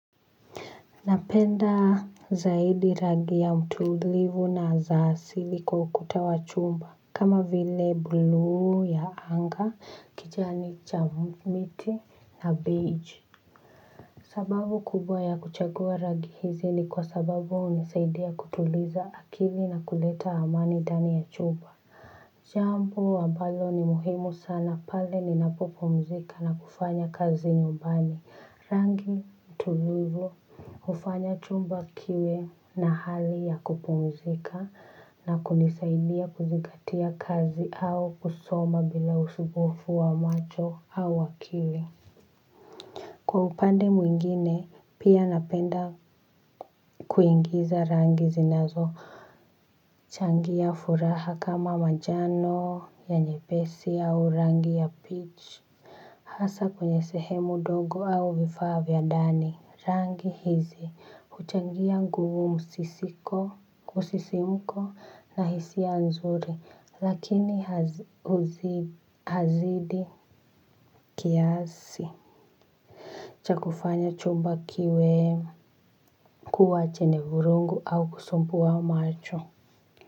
Napenda zaidi rangi ya mtulivu na za asili kwa ukuta wa chumba kama vile buluu ya anga, kijani cha miti na beige. Sababu kubwa ya kuchagua rangi hizi ni kwa sababu hunisaidia kutuliza akili na kuleta amani ndani ya chumba. Jambo ambalo ni muhimu sana pale ninapopomzika na kufanya kazi nyumbani rangi tulivu hufanya chumba kiwe na hali ya kupumzika na kunisaidia kuzingatia kazi au kusoma bila usumbufu wa macho au akili. Kwa upande mwingine pia napenda kuingiza rangi zinazochangia furaha kama manjano ya nyepesi au rangi ya peach hasa kwenye sehemu dogo au vifaa vya ndani rangi hizi. Huchangia nguvu msisimko na hisia nzuri lakini hazidi kiasi cha kufanya chumba kiwe kuwa chenye vurugu au kusumbua macho.